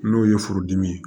N'o ye furudimi ye